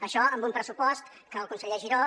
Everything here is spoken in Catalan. això amb un pressupost que el conseller giró